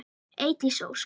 Eydís Ósk.